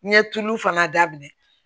N ye tulu fana daminɛ